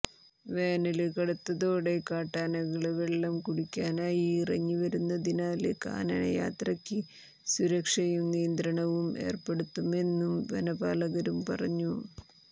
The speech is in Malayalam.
വേനല് കടുത്തതോടെ കാട്ടാനകള് വെള്ളം കുടിക്കാനായി ഇറങ്ങി വരുന്നതിനാല് കാനന യാത്രക്ക് സുരക്ഷയും നിയന്ത്രണവും ഏര്പ്പെടുത്തുമെന്നും വനപാലകരും പറഞ്ഞു